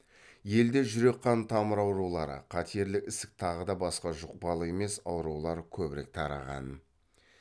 елде жүрек қан тамыр аурулары қатерлі ісік тағыда басқа жұқпалы емес аурулар көбірек тараған